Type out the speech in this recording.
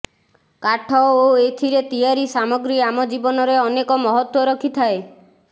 କାଠ ଓ ଏଥିରେ ତିଆରି ସାମଗ୍ରୀ ଆମ ଜୀବନରେ ଅନେକ ମହତ୍ୱ ରଖିଥାଏ